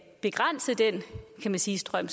begrænse den kan man sige strøm